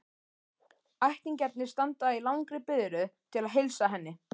Ættingjarnir standa í langri biðröð til að heilsa henni.